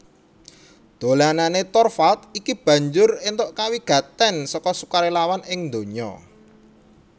Dolanané Torvalds iki banjur éntuk kawigatèn seka sukarélawan ing ndonya